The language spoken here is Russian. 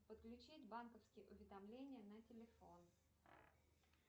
подключить банковские уведомления на телефон